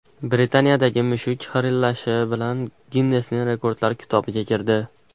Britaniyadagi mushuk xirillashi bilan Ginnesning rekordlar kitobiga kirdi.